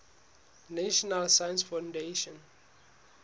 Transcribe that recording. national science foundation